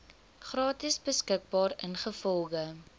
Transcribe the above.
gratis beskikbaar ingevolge